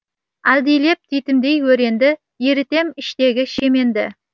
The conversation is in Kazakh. әлдилеп титімдей өренді ерітем іштегі шеменді